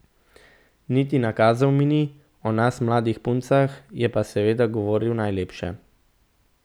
Niti nakazal mi ni, o nas mladih puncah je pa seveda govoril najlepše.